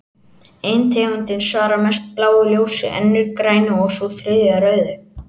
Ein tegundin svarar mest bláu ljósi, önnur grænu og sú þriðja rauðu.